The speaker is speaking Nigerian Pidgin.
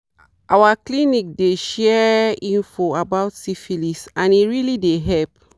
our clinic dey shere free info about syphilis and e really dey help